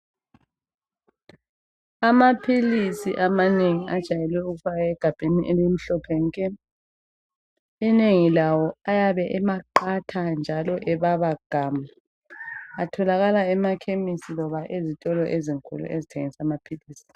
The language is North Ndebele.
Amaphilisi amanengi ajayelwe ukufakwa egabheni elimhlophe nke. Inengi lawo ayabe eqatha njalo ebaba gamu atholakala emakhemesi loba ezitolo ezinkulu ezithengisa amaphilisi.